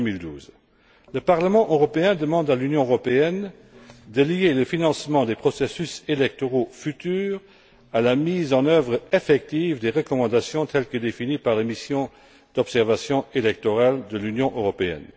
2012. Le Parlement européen demande à l'Union européenne de lier le financement des processus électoraux futurs à la mise en œuvre effective des recommandations telles que définies par les missions d'observation électorale de l'Union européenne.